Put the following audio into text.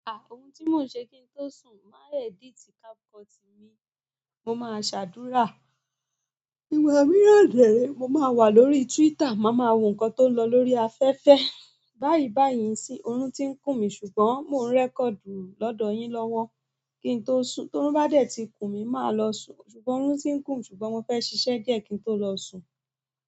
A! Oun ti mo n se kin to sun? Mo maa n edit capcut ni mo máa ṣàdúrà. Ìgbà mìíràn de re, mo máa wà lórí Twitter, màá máa wo nǹkan tó ń lọ lórí afẹ́fẹ́. Báyìí báyìí sín, orun tiń kùn mí ṣùgbọ́n mò ń record lọ́dọ̀ yín lọ́wọ́ kín tó sùn. To orun bá dẹ̀ ti kun mí, màá lọ sùn. Ṣùgbọ́n orun ti ń kùn ṣùgbọ́n mo fẹ́ ṣiṣẹ́ díẹ̀ kí n tó lọ sùn.